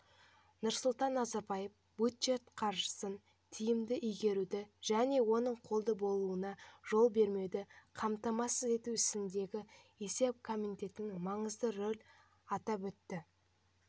нұрсұлтан назарбаев бюджет қаржысын тиімді игеруді және оның қолды болуына жол бермеуді қамтамасыз ету ісіндегі есеп комитетінің маңызды рөлін атап өтті